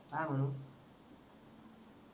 काय म्हणू